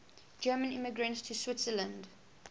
german immigrants to switzerland